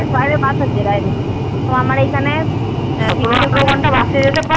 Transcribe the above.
বাইরে bus আছে বাইরের আমার এখানে